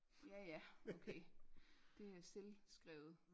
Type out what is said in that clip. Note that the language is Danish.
Ja ja okay det er selvskrevet